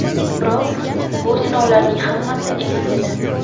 Biroq bu sinovlarning hammasi emas edi.